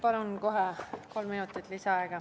Palun kohe kolm minutit lisaaega!